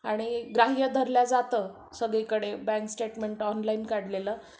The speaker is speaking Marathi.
आणि ग्राह्य धरलं जातं सगळीकडे बँक स्टेटमेंट ऑनलाईन काढलेलं